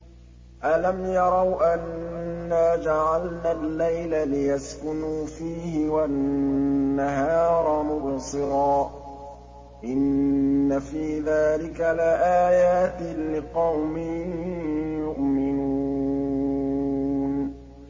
أَلَمْ يَرَوْا أَنَّا جَعَلْنَا اللَّيْلَ لِيَسْكُنُوا فِيهِ وَالنَّهَارَ مُبْصِرًا ۚ إِنَّ فِي ذَٰلِكَ لَآيَاتٍ لِّقَوْمٍ يُؤْمِنُونَ